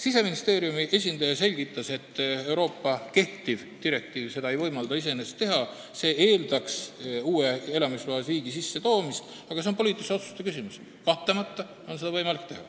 Siseministeeriumi esindaja selgitas, et kehtiv Euroopa direktiiv ei võimalda seda iseenesest teha, see eeldaks elamisloa uue liigi sissetoomist, aga see on poliitilise otsuse küsimus, kahtlemata on seda võimalik teha.